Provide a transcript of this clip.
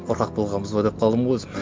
қорқақ болғанбыз ба деп қалдым ғой өзім